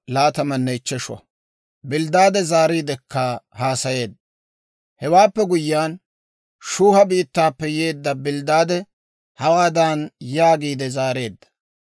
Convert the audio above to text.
Hewaappe guyyiyaan, Shuuha biittaappe yeedda Bilddaade hawaadan yaagiide zaareedda;